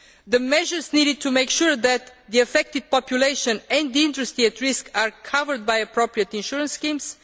the measures needed to make sure that the affected population and industry at risk are covered by appropriate insurance schemes